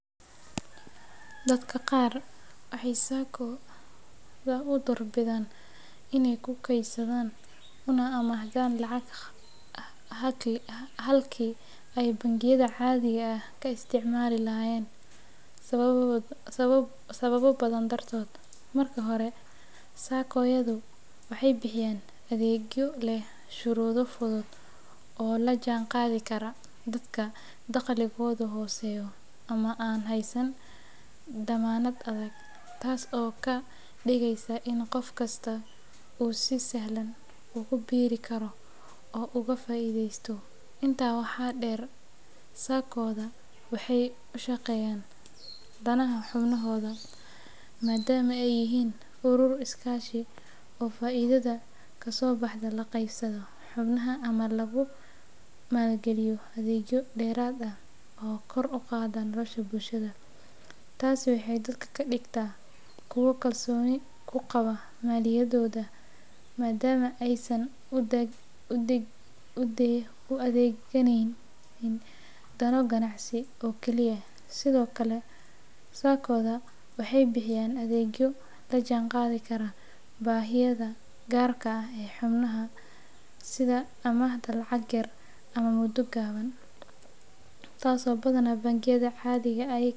Dadka qaar waxay SACCO-da u doortaan inay ku kaydsadaan una amaahdaan lacag halkii ay bangiyada caadiga ah ka isticmaali lahaayeen sababo badan dartood. Marka hore, SACCO-yadu waxay bixiyaan adeegyo leh shuruudo fudud oo la jaan qaadi kara dadka dakhligoodu hooseeyo ama aan haysan dammaanad adag, taas oo ka dhigaysa in qof kasta uu si sahlan ugu biiri karo oo uu ka faa’iidaysto. Intaa waxaa dheer, SACCO-da waxay u shaqeeyaan danaha xubnahooda, maadaama ay yihiin urur iskaashi oo faa’iidada ka soo baxda la qaybsado xubnaha ama lagu maalgaliyo adeegyo dheeraad ah oo kor u qaada nolosha bulshada. Taasi waxay dadka ka dhigtaa kuwo kalsooni ku qabaa maaliyadooda, maadaama aysan u adeegaynin dano ganacsi oo kaliya. Sidoo kale, SACCO-da waxay bixiyaan adeegyo la jaan qaadi kara baahiyaha gaarka ah ee xubnaha, sida amaahda lacag yar ama muddo gaaban, taasoo badanaa bangiyada caadiga ahI.